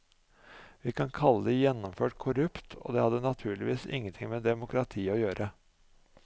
Vi vil kalle det gjennomført korrupt, og det hadde naturligvis ingenting med demokrati å gjøre.